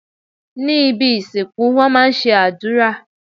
Ní ibi ìsìnkú wón má a ń ṣe àdúrà